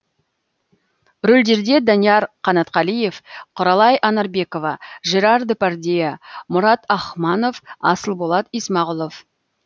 рөлдерде данияр қанатқалиев құралай анарбекова жерар депардье мұрат ахманов асылболат исмағұлов